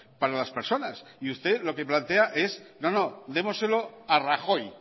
para las personas y usted lo que plantea es no no démoselo a rajoy